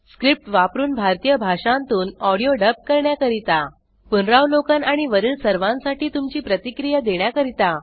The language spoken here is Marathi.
स्क्रिप्ट वापरून भारतीय भाषांतून ऑडिओ डब करण्याकरिता पुनरावलोकन आणि वरील सर्वांसाठी तुमची प्रतिक्रिया देण्याकरिता